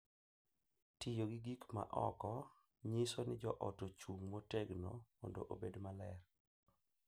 Tiyo gi gik ma oko nyiso ni joot ochung’ motegno mondo obed maber